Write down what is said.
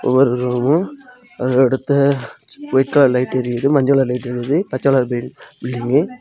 ஒரு அது அடுத்த ஒயிட் கலர் லைட் எரிது மஞ்ச கலர் லைட் எரித்து பச்ச கலர் பெயி_பில்டிங்கு .